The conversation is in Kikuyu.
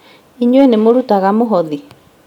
Inyuĩ nĩmũrutaga mũhothi?